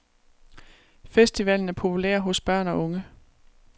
Festivalen er populær hos børn og unge.